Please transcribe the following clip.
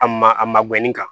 A ma a ma gɛnni kan